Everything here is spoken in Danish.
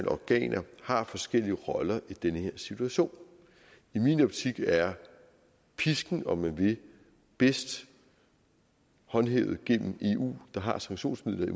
organer har forskellige roller i den her situation i min optik er pisken om man vil bedst håndhævet gennem eu der har sanktionsmidler i